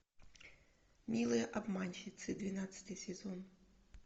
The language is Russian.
милые обманщицы двенадцатый сезон